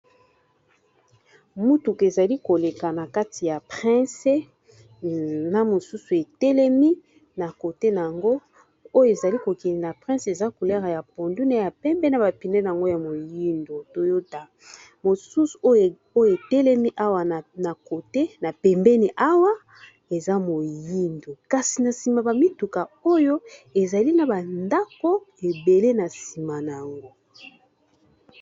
mutuka ezali koleka na kati ya prince na mosusu etelemi na kote na yango oyo ezali kokele na prince eza culere ya pondune ya pembena bapinene yango ya moyindo toyota mosusu oyo etelemi awa na kote na pembeni awa eza moyindo kasi na nsima bamituka oyo ezali na bandako ebele na nsima na yango